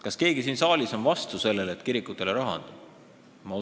Kas keegi siin saalis on vastu, et kirikutele raha anda?